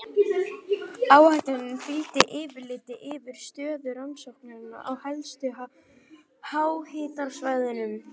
Áætluninni fylgdi yfirlit yfir stöðu rannsókna á helstu háhitasvæðum.